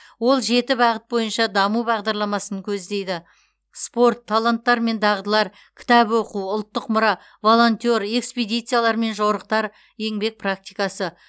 ол жеті бағыт бойынша даму бағдарламасын көздейді спорт таланттар мен дағдылар кітап оқу ұлттық мұра волонтер экспедициялар мен жорықтар еңбек практикасы